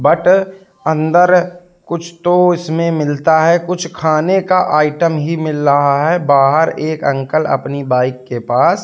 but अंदर कुछ तो इसमें मिलता है कुछ खाने का आइटम ही मिल रहा है बाहर एक अंकल अपनी बाइक के पास--